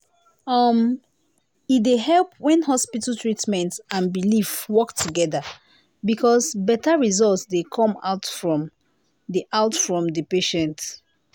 uhmm e dey help when hospital treatment and belief work together because better result dey come outfrom the outfrom the patient.